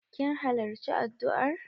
Kin halarci addu'ar?